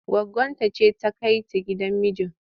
Goggonta ce za ta kai ta gidan miji.